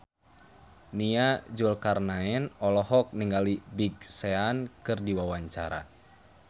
Nia Zulkarnaen olohok ningali Big Sean keur diwawancara